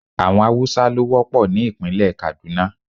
Àwọn Haúsá ló wọ́pọ̀ ní ìpínlẹ̀ Kàdúná.